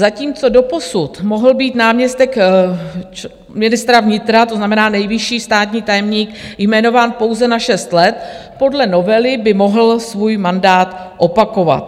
Zatímco doposud mohl být náměstek ministra vnitra, to znamená nejvyšší státní tajemník, jmenován pouze na 6 let, podle novely by mohl svůj mandát opakovat.